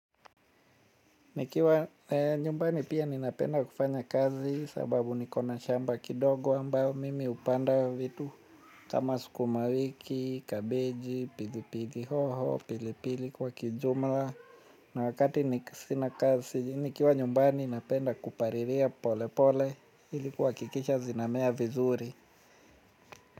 Nikiwa nyumbani pia ninapenda kufanya kazi sababu nikona shamba kidogo ambayo mimi hupanda vitu kama sukumawiki, kabeji, pili pili hoho, pili pili kwa kijumla. Na wakati niki sina kazi nikiwa nyumbani napenda kupariria pole pole ilikuwa kuhakikisha zinamea vizuri.